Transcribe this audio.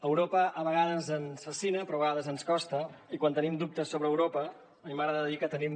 europa a vegades ens fascina però a vegades ens costa i quan tenim dubtes sobre europa a mi m’agrada dir que tenim